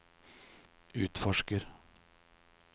utforsker